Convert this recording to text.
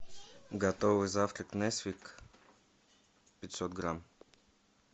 готовый завтрак несквик пятьсот грамм